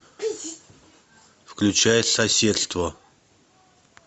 включай соседство